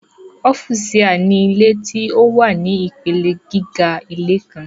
ọ́fùsià ni ilé tí ó wà ní ìpele gíga ilé kan.